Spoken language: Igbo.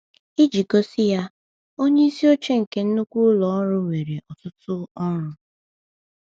Iji gosi ya: Onye isi oche nke nnukwu ụlọ ọrụ nwere ọtụtụ ọrụ.